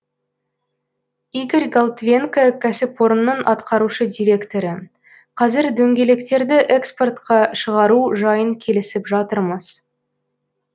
игорь голтвенко кәсіпорынның атқарушы директоры қазір дөңгелектерді экспортқа шығару жайын келісіп жатырмыз